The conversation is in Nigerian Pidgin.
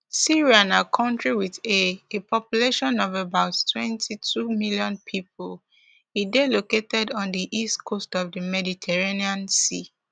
syria na country with a a population of about twenty-two million people e dey located on di east coast of di mediterranean sea